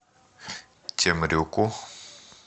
темрюку